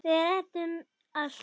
Við ræddum um allt.